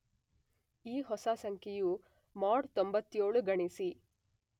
ಈ ಹೊಸ ಸಂಖ್ಯೆಯ ಮಾಡ್ 97 ಗಣಿಸಿ.